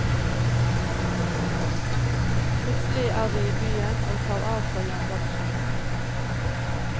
Plutselig er vi i byen, og tar av fra jernbaneskinnene.